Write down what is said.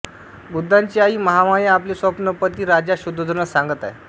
बुद्धांची आई महामाया आपले स्वप्न पती राजा शुद्धोधनास सांगत आहे